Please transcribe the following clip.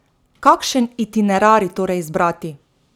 Kakšen itinerarij torej izbrati?